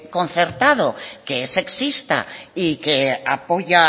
concertado que es sexista y que apoya